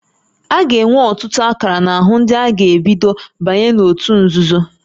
A ga-enwe ọtụtụ akara n'ahụ ndị a ga-ebido banye n'òtù nzuzo